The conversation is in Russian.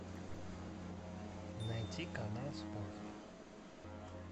найти канал спорт